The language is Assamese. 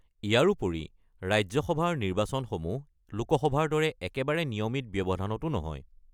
ইয়াৰোপৰি, ৰাজ্য সভাৰ নিৰ্বাচনসমূহ লোক সভাৰ দৰে একেবাৰে নিয়মিত ব্যৱধানতো নহয়।